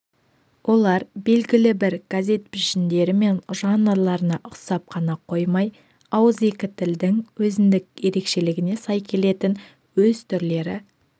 олар белгілі бір газет пішіндері мен жанрларына ұқсап қана қоймай ауызекі тілдің өзіндік ерекшелігіне сай келетін өз түрлері